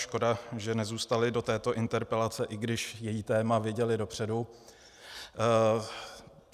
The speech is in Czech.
Škoda, že nezůstaly do této interpelace, i když její téma věděly dopředu.